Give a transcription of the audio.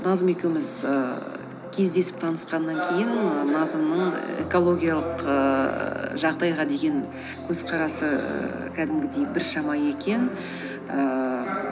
назым екеуміз ііі кездесіп таңысқаннан кейін назымның экологиялық ііі жағдайға деген көзқарасы ііі кәдімгідей біршама екен ііі